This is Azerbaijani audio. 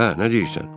Hə, nə deyirsən?